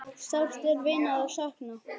Sárt er vinar að sakna.